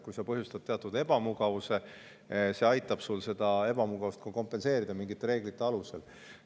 Kui see põhjustab teatud ebamugavust, siis see aitab seda ebamugavust kompenseerida mingite reeglite alusel.